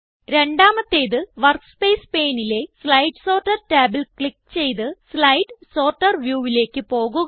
രണ്ടാമത്തേത് വർക്ക്സ്പേസ് paneലെ slide sorter ടാബിൽ ക്ലിക്ക് ചെയ്ത് സ്ലൈഡ് സോർട്ടർ viewലേക്ക് പോകുക